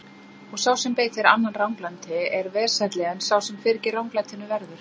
Og sá sem beitir annan ranglæti er vesælli en sá sem fyrir ranglætinu verður.